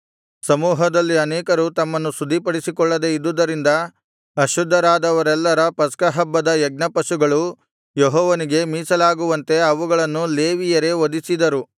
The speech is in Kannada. ಸಮೂಹದಲ್ಲಿ ಅನೇಕರು ತಮ್ಮನ್ನು ಶುದ್ಧಿಪಡಿಸಿಕೊಳ್ಳದೆ ಇದ್ದುದರಿಂದ ಅಶುದ್ಧರಾದವರೆಲ್ಲರ ಪಸ್ಕಹಬ್ಬದ ಯಜ್ಞಪಶುಗಳು ಯೆಹೋವನಿಗೆ ಮೀಸಲಾಗುವಂತೆ ಅವುಗಳನ್ನು ಲೇವಿಯರೇ ವಧಿಸಿದರು